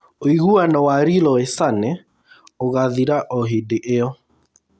ũiguano wa Leroy Sane ũgathira o-hĩndĩ ĩyo